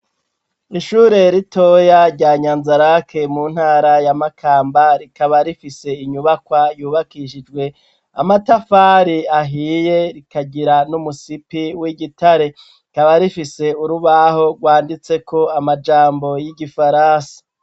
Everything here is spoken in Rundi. Ishure ritoya, rya Nyanzarake, mu ntara ya Makamba, rikaba rifise inyubakwa, yubakishijwe amatafari ahiye, rikagira n'umusipi w'igitare; rikaba rifise urubaho, rwanditseko amajambo y'igifaransa.